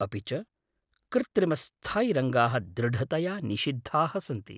अपि च कृत्रिमस्थायिरङ्गाः दृढतया निषिद्धाः सन्ति!